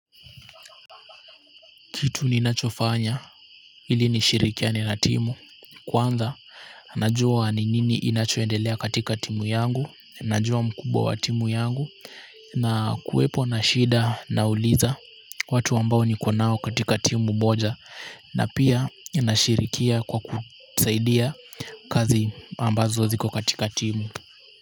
Kitu ninachofanya ili nishirikiane na timu kwanza najua ni nini inachoendelea katika timu yangu, najua mkubwa wa timu yangu na kuwepo na shida nauliza watu ambao niko nao katika timu moja na pia ninashirikia kwa kusaidia kazi ambazo ziko katika timu.